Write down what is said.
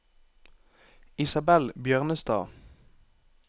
Isabell Bjørnestad